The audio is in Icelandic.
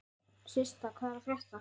Systa, hvað er að frétta?